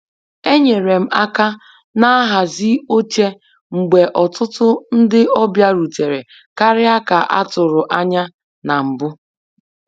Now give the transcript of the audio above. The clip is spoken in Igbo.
Enyere m aka na nhazi oche mgbe ọtụtụ ndị ọbịa rutere karịa ka a tụrụ anya na mbụ